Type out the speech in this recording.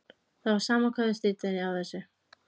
Það var sama hvað þau stríddu henni á þessu.